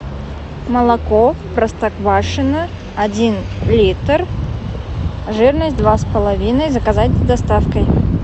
молоко простоквашино один литр жирность два с половиной заказать с доставкой